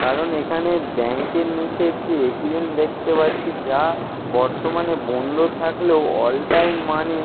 কারণ এইখানে ব্যাংক -এর নিচে একটি এ .টি .এম দেখতে পাচ্ছি যা বর্তমানে বন্ধ থাকলেও অল টাইম মানি ।